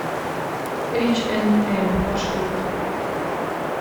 эйч энд эм маршрут